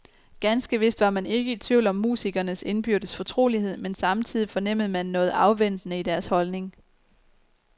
Ganske vist var man ikke i tvivl om musikernes indbyrdes fortrolighed, men samtidigt fornemmede man noget afventende i deres holdning.